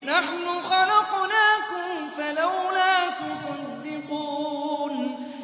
نَحْنُ خَلَقْنَاكُمْ فَلَوْلَا تُصَدِّقُونَ